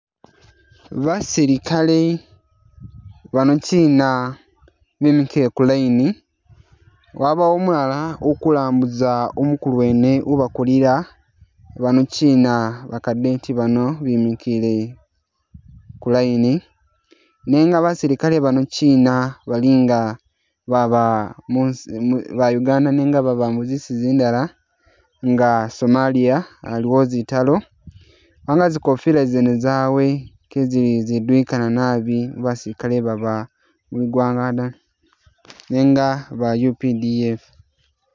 Basilikale bano kyina bimikile ku line, wabawo umulala ukulambuza umukulu wene ubakulira bano kyina ba cardet bano bimikile ku line nenga basilikale bano kyina balinga baba munsi mu ba Uganda nenga baba muzinsi zindala nga Somalia aliwo zitaalo kubanga zikofila zene zawe kezili ziduyikana nabi mu basilikale baba mugwanga dda nenga ba UPDF